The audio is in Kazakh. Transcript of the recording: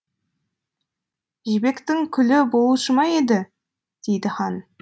жібектің күлі болушы ма еді дейді хан